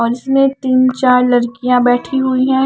बस में तीन चार लड़कियां बैठी हुई हैं।